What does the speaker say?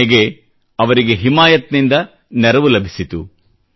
ಕೊನೆಗೆ ಅವರಿಗೆ ಹಿಮಾಯತ್ ನಿಂದ ನೆರವು ಲಭಿಸಿತು